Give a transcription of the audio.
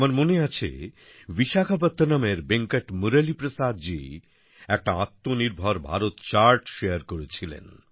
আমার মনে আছে বিশাখাপত্তনমের বেঙ্কট মুরলী প্রসাদ জি একটা আত্মনির্ভর ভারত চার্ট শারে করেছিলেন